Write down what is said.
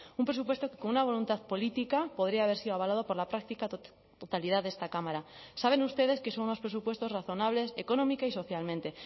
un presupuesto que con una voluntad política podría haber sido avalado por la práctica totalidad de esta cámara saben ustedes que son unos presupuestos razonables económica y socialmente